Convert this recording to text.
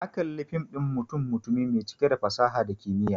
Na kalla fim ɗin mutum-mutumi mai cike da fasaha da kimiyya.